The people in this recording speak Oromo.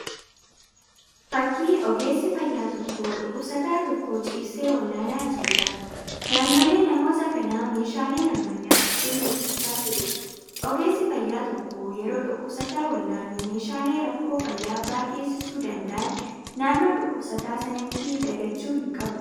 Fakkii Ogeessi fayyaa tokko dhukkubsataa tokko ciibsee wal'aanaa jiruudha. Naannoolee namoota kanaa meeshaaleen ammayyaa hedduun mul'achaa jiru. Ogeesi fayyaa tokko yeroo dhukkubsataa wal'aanuu meeshaalee rakkoo fayyaa biraa geessisuu danda'aan naannoo dhukkubsataa sanatti dagachuu hin qabu.